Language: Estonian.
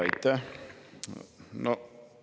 Aitäh!